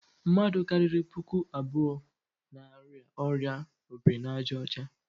Mmadụ karịrị puku abụọ n'arịa ọrịa obirinaàjàọcha.